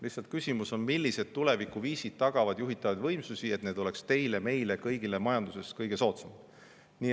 Lihtsalt küsimus on, millised tulevikuviisid tagavad juhitavad võimsused nii, et need oleks teile, meile, kõigile majanduses kõige soodsamad.